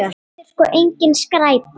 Þetta er sko engin skræpa.